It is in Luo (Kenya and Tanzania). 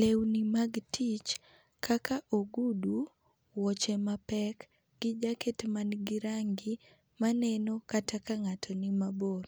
Lewni mag tich kaka ogudu, wuoche mapek gi jacket ma ni gi rangi ma neno kata ng'ato ni mabor.